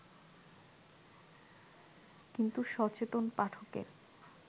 কিন্তু সচেতন পাঠকের